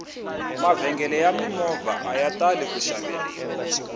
mavhengele ya mimovha aya tali ku xaveriwa